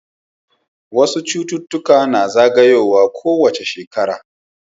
wasu cuta na zagayowa ko wace shekara